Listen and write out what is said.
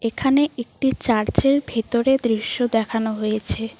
এখানে একটি চার্চের ভেতরে দৃশ্য দেখানো হয়েছে।